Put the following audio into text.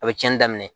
A bɛ tiɲɛni daminɛ